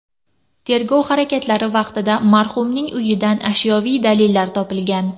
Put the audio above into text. Tergov harakatlari vaqtida marhumning uyidan ashyoviy dalillar topilgan.